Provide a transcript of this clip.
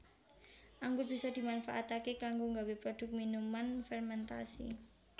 Anggur bisa dimanfaataké kanggo nggawé produk minuman férméntasi